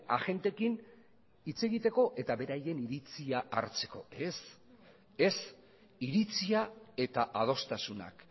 agenteekin hitz egiteko eta beraien iritzia hartzeko ez ez iritzia eta adostasunak